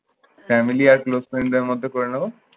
family আর close friend মধ্যে করে নেব?